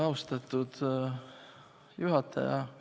Austatud juhataja!